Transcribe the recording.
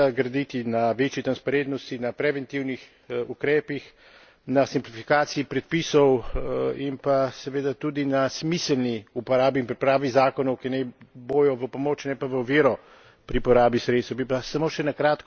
Treba je seveda graditi na večji transparentnosti, na preventivnih ukrepih, na simplifikaciji predpisov in pa seveda tudi na smiselni uporabi in pripravi zakonov, ki naj bojo v pomoč, ne pa v oviro pri porabi sredstev.